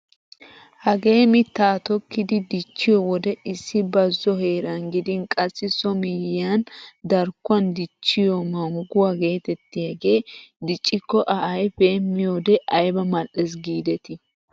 Hagee mittaa tokkidi dichchiyoo wode issi bazo heeran gidin qassi so miyiyaan darkkuwaan dichchiyoo mangguwaa getettiyaagee diccikko a ayfee miyoode ayba mal"ees gidetii!